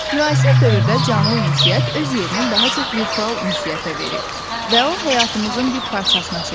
Müasir dövrdə canlı ünsiyyət öz yerini daha çox virtual ünsiyyətə verib və o, həyatımızın bir parçasına çevrilib.